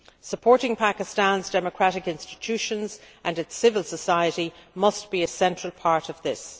Supporting Pakistan's democratic institutions and its civil society must be a central part of this.